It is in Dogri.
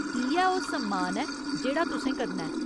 इ'यै ओह् सम्मान ऐ जेह्ड़ा तुसें करना ऐ।